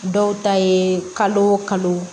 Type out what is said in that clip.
Dɔw ta ye kalo o kalo